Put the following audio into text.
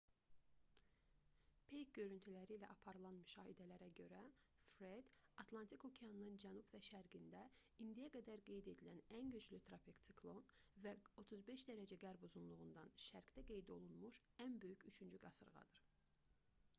peyk görüntüləri ilə aparılan müşahidələrə görə fred atlantik okeanının cənub və şərqində indiyə qədər qeyd edilən ən güclü tropik siklon və 35° qərb uzunluğundan şərqdə qeyd olunmuş ən böyük üçüncü qasırğadır